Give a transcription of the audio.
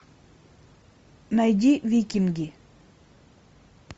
найди викинги